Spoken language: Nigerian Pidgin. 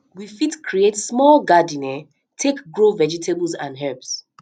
we fit create small garden um take grow vegetables and herbs